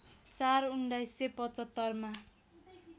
४ १९७५ मा